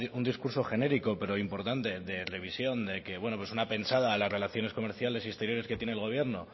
un discurso genérico pero importante de revisión de que bueno pues una pensada a las relaciones comerciales y exteriores que tiene el gobierno